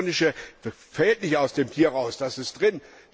Das elektronische fällt nicht aus dem Tier raus, das ist drin.